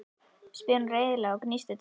spyr hún reiðilega og gnístir tönnum.